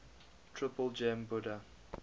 triple gem buddha